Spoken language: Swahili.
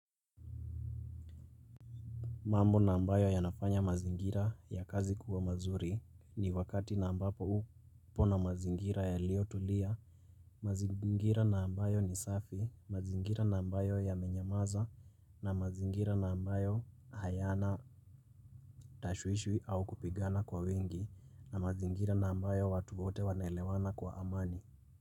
Mambo na ambayo ya nafanya mazingira ya kazi kuwa mazuri ni wakati na ambapo upo na mazingira yaliyo tulia, mazingira na ambayo ni safi, mazingira na ambayo yamenyamaza, na mazingira na ambayo hayana tashwishwi au kupigana kwa wingi, na mazingira na ambayo watu wote wanelewana kwa amani.